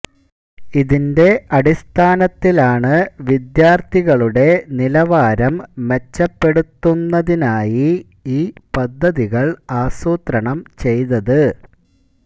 ഇതിൻെറ അടിസ്ഥാനത്തിലാണ് വിദ്യാർഥികളുടെ നിലവാരം മെച്ചപ്പെടുത്തുന്നതിനായി ഈ പദ്ധതികൾ ആസൂത്രണം ചെയ്തത്